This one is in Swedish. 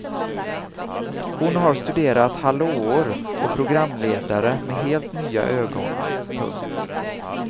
Hon har studerat hallåor och programledare med helt nya ögon. punkt